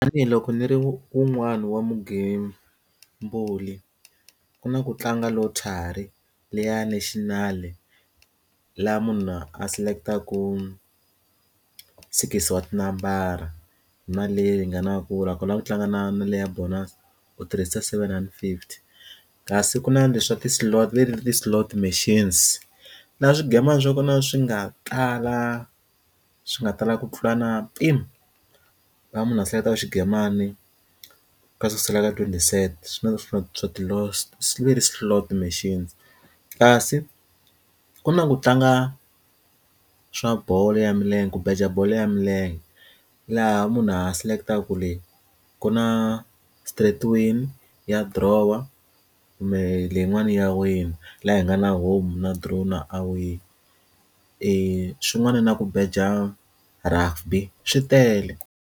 Tanihi loko ndzi ri wun'wani wa vugembuli ku na ku tlanga lottery liya national laha munhu a select-aku six wa tinambara mali leyi nga na ku nakona ku tlanga na na le ya bonus u tirhisa seven rhandi fifty kasi ku na leswi swa ti slot leti ti slow machines na swingomani swa kona swi nga tala swi nga tala ku tlula na mpimo va munhu a hleketa ku mani ka sukusela ka twenty cent swinene hlotiwa ti slot machines kasi ku na ku tlanga swa bolo ya milenge ku beja bolo ya milenge laha munhu ha select-aku leyi ku na straight win ya dirowa kumbe leyin'wana ya wina laha hi nga na home na draw na away i swin'wana na ku beja rugby swi tele.